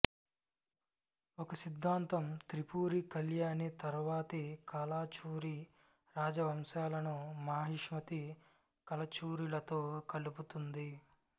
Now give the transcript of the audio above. ఒక సిద్ధాంతం త్రిపురి కళ్యాణి తరువాతి కలాచురి రాజవంశాలను మహిష్మతి కలచురిలతో కలుపుతుంది